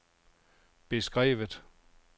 beskrevet